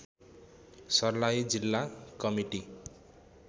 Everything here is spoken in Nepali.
सर्लाही जिल्ला कमिटी